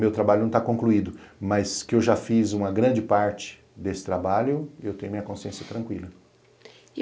Meu trabalho não está concluído, mas que eu já fiz uma grande parte desse trabalho, eu tenho minha consciência tranquila.